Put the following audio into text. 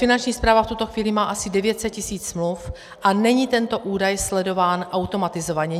Finanční správa v tuto chvíli má asi 900 tisíc smluv a není tento údaj sledován automatizovaně.